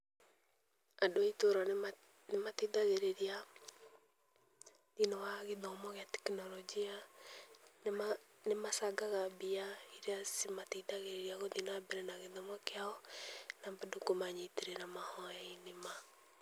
Andũ a itũra nĩma nĩmateithagĩrĩria, thĩ-inĩ wa gĩthomo gĩa tekinoronjĩ ya nĩmacangaga mbia iria cimateithagĩrĩria gũthiĩ na mbere na gĩthomo kĩao, na bado kũmanyitĩrĩra mahoya-inĩ ma.